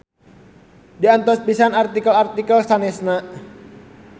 Diantos pisan artikel-artikel sanesna.